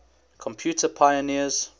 computer pioneers